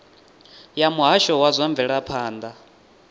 ya muhasho wa zwa mvelaphanda